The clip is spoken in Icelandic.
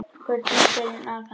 Gullna skelin afhent